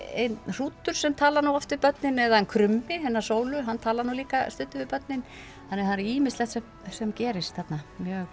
hrútur sem talar nú oft við börnin eða hann krummi hennar sólu hann talar nú líka stundum við börnin þannig að það er ýmislegt sem sem gerist þarna